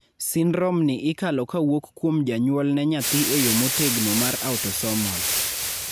syndrome ni ikalo kawuok kuom janyuol ne nyathi e yoo motegno mar autosomal